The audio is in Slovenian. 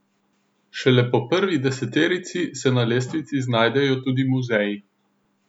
Šele po prvi deseterici se na lestvici znajdejo tudi muzeji.